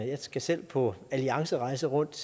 jeg skal selv på alliancerejse rundt